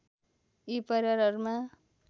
यी परिवारहरूमा